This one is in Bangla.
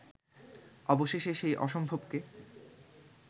অবশেষে সেই অসম্ভবকে